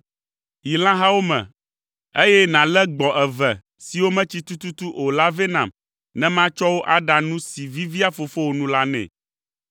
Yi lãhawo me, eye nàlé gbɔ̃ eve siwo metsi tututu o la vɛ nam ne matsɔ wo aɖa nu si vivia fofowò nu la nɛ.